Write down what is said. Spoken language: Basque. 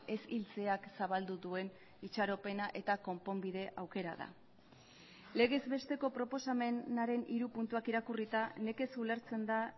ez hiltzeak zabaldu duen itxaropena eta konponbide aukera da legez besteko proposamenaren hiru puntuak irakurrita nekez ulertzen da